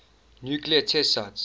nuclear test sites